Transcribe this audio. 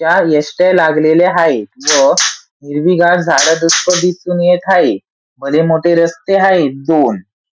त्या एस.ट्या. लागलेल्या हाये व हिरवीगार झाडं दिसून येत हाये भले मोठे रस्ते हाये दोन.